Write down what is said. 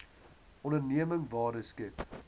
onderneming waarde skep